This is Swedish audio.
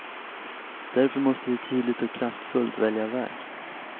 Därför måste vi tydligt och kraftfullt välja väg.